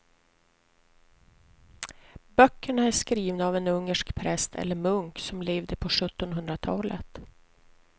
Böckerna är skrivna av en ungersk präst eller munk som levde på sjuttonhundratalet.